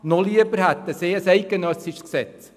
Noch lieber wäre ihnen ein eidgenössisches Gesetz.